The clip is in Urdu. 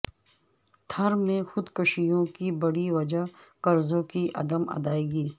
تھر میں خودکشیوں کی بڑی وجہ قرضوں کی عدم ادائیگی